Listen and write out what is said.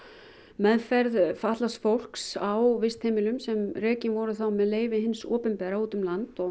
meðferð fatlaðs fólks á vistheimilum sem rekin voru með leyfi hins opinbera út um land